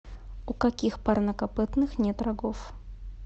у каких парнокопытных нет рогов